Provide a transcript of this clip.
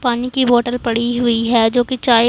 पानी की बोटल पड़ी हुईं हैं जो की चाय--